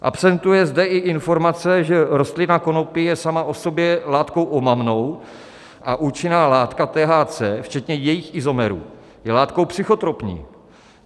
Absentuje zde i informace, že rostlina konopí je sama o sobě látkou omamnou a účinná látka THC včetně jejích izomerů je látkou psychotropní.